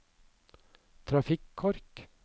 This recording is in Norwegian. trafikkork